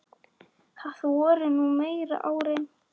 Það voru nú meiri árin.